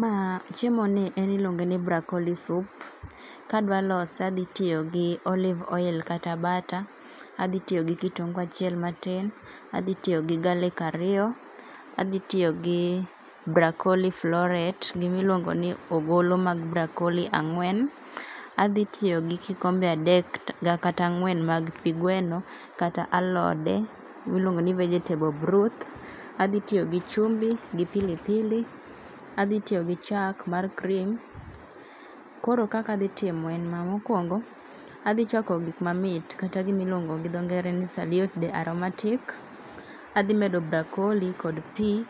Ma chiemo ni en iluongo ni brokoli soup. Kadwa lose adhi tiyo gi olive oil kata butter. Adhi tiyo gi kitungu achiel matin. Adhi tiyo gi garlic ariyo, adhi tiyo gi brokoli floret gima iluongo ni ogolo mar brokoli ang'wen. Adhi tiyo gi kikombe adek ga kata ang'wen mag pi gweno, kata alode miluongo ni vegetable broth. Adhi tiyo gi chumbi, gi pilipili. Adhi tiyo gi chak mar cream. Koro kaka adhi timo en ma, mokuongo adhi chwako gik ma mit, kata gima iluongo gi dho ngere ni salute the aromatic. Adhi medo brokoli kod pi.